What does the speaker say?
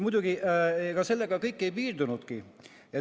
Muidugi, ega sellega kõik ei piirdunud.